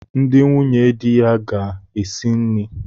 Ndi nwunye di ya ga esi nni.